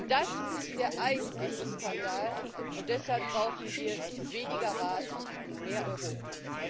Das ist der eigentliche Skandal, und deshalb brauchen wir weniger Rat und mehr Europa.